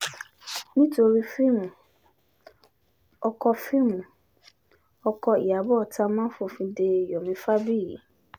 nítorí fíìmù ọkọ fíìmù ọkọ ìyàbọ̀ támán fòfin dé yomi fábíyì